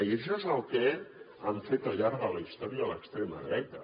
i això és el que ha fet al llarg de la història l’extrema dreta